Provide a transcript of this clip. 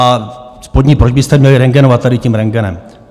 A spodní proč byste měli rentgenovat tady tím rentgenem?